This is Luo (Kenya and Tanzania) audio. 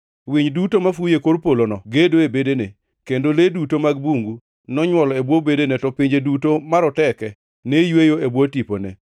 Winy duto mafuyo e kor polono gedo e bedene, kendo le duto mag bungu nonywol e bwo bedene; to pinje duto maroteke ne yweyo e bwo tipone.